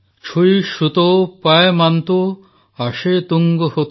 ଛୁଇ ଶୁତୋ ପାୟମାନ୍ତୋ ଆଶେ ତୁଂଗ ହୋତେ